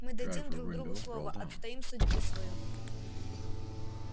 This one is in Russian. мы дадим друг другу слово отстоим судьбу свою